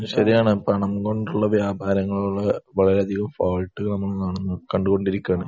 അത് ശരിയാണ്. പണം കൊണ്ടുള്ള വ്യാപാരങ്ങളോട് വളരെയധികം ഫോൾട്ട് നമ്മൾ കാണുന്നു കണ്ടുകൊണ്ടിരിക്കുകയാണ്.